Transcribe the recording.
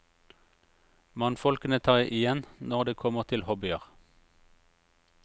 Mannfolkene tar igjen når det kommer til hobbier.